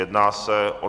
Jedná se o